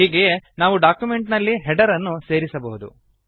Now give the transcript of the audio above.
ಹೀಗೆಯೇ ನಾವು ಡಾಕ್ಯುಮೆಂಟ್ ನಲ್ಲಿ ಹೆಡರ್ ಅನ್ನು ಸೇರಿಸಬಹುದು